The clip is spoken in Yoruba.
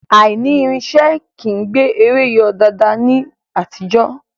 Aìní irinṣẹ́ kìí gbé eré yọ daadaa ní àtijọ́